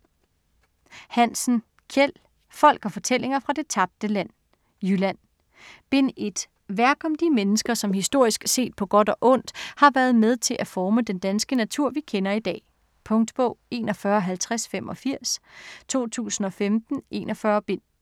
Hansen, Kjeld: Folk & fortællinger fra det tabte land: Jylland Bind 1. Værk om de mennesker, som historisk set, på godt og ondt, har været med til at forme den danske natur vi kender i dag. Punktbog 415085 2015. 41 bind.